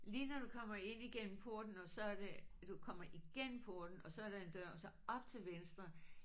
Lige når du kommer ind igennem porten og så er det du kommer igennem porten og så er der en dør og så op til venstre